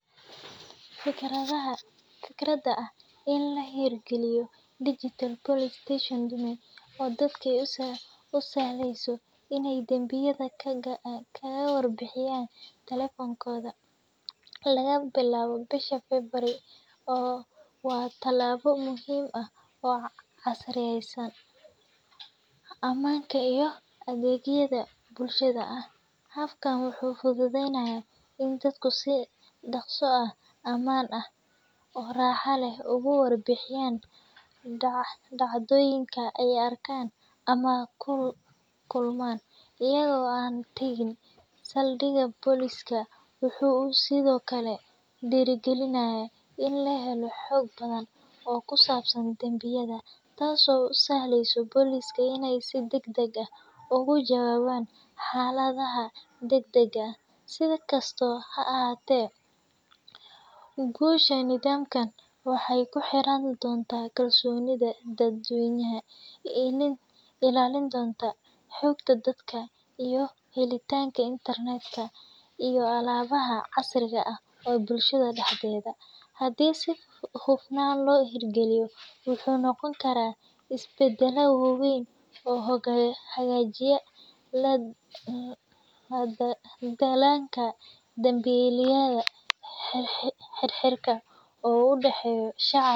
Fikradaxa, fikrada ah in lahirgaliyo digital police station dummy oo dadka usahleyso in ay danbiyada kagawar bihiyan, talephonkoda, lagabilawo bisha February oo , wa talabo muxiim ah oo casriyeysan, amanka iyo adegyada bulshada ah, app wuxu fududeynaya in dadku si daqso ah aman ah oo raxa leh uguwarbihiyan dacdoyinka au arkan ama kulman, iyago an tagin saldiga police wuxu Sidhokale dirigalinaya in lahelo xoog badan oo kusabsan danbiyada, taas oo usahleyso policeka inay si dagdag ah ugujawawan xaladaha dagdaga ah , si kasto haahate gusha nidamkan waxay kuxirantaxay kalsonida dadweynaxa in ilalindonta xogta dadka iyo xelitanka internet iyo alabaha casriga ah ee bulshada daxdeda, xadhii si hufanan lohirgaliyo wuxu nogonkara isbadala wawen oo hagajinayo danbilayada xirxiritanka oo udaxeyo shacabka.